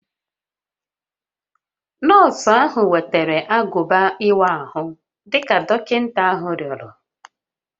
Nọọsụ ahụ wetara agụba ịwa ahụ dị ka dọkịta ahụ rịọrọ